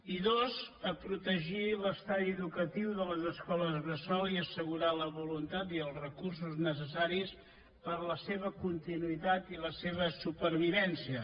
i dos a protegir l’estadi educatiu de les escoles bressol i assegurar la voluntat i els recursos necessaris per a la seva continuïtat i la seva supervivència